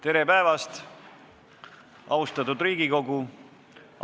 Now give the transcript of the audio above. Tere päevast, austatud Riigikogu!